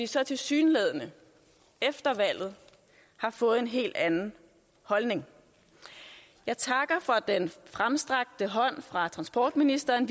så tilsyneladende efter valget har fået en helt anden holdning jeg takker for den fremstrakte hånd fra transportministeren